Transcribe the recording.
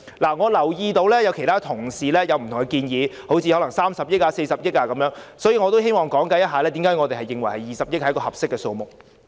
我留意到其他同事對此有不同的建議，例如30億元或40億元，故此我希望解釋為何我們認為20億元是一個合適的數目。